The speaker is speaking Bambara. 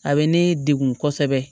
A bɛ ne degun kosɛbɛ